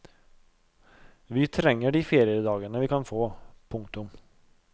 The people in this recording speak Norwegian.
Vi trenger de feriedagene vi kan få. punktum